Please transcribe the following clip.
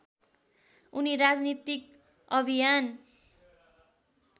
उनी राजनीतिक अभियान